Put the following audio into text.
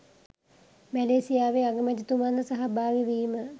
මැලේසියාවේ අගමැතිතුමන් ද සහභාගී වීම